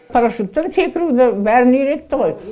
парашюттен секіруді бәрін үйретті ғой